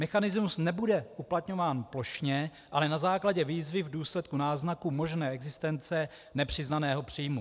Mechanismus nebude uplatňován plošně, ale na základě výzvy v důsledku náznaku možné existence nepřiznaného příjmu.